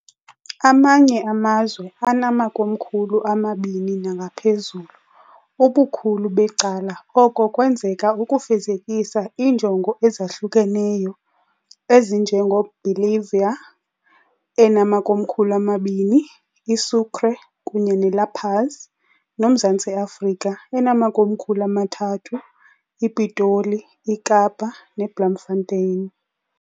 Amanye amazwe anamakomkhulu amabini nangaphezulu, ubukhulu becala oko kwenzeka ukufezekisa iinjongo ezahlukeneyo, ezinje ngeBolivia, enamakomkhulu amabini, iSucre kunye neLa Paz, noMzantsi Afrika, enamakomkhulu amathathu, iPitoli, iKapa ne Blamfanteni.